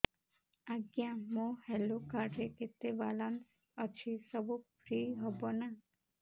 ଆଜ୍ଞା ମୋ health card ରେ କେତେ ବାଲାନ୍ସ ଅଛି ସବୁ ଫ୍ରି ହବ ନାଁ